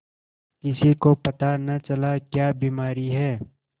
किसी को पता न चला क्या बीमारी है